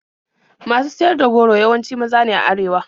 Masu siyar da goro yawanci maza ne a arewa.